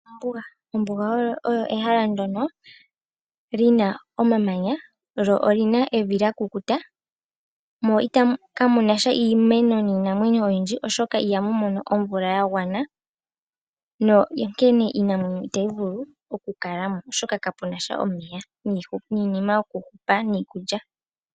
Ombuga. Ombuga olyo ehala ndjoka lina omamanya lyo olina evi lya ekukutu. Mehala ndika ihamukala iinamwenyo niimeno oyindji oshoka ihamu mono omuloka gwa gwana ,shika osho sha etitha mukale iinamwenyo niimeno iishona.